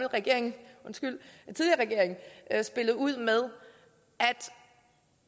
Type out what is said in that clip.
regering spillede ud med